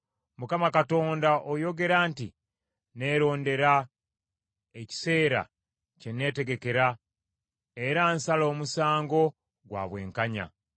Mukama Katonda oyogera nti, “Neerondera ekiseera kye neetegekera era nsala omusango gwa bwenkanya.